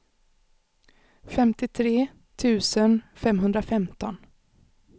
femtiotre tusen femhundrafemton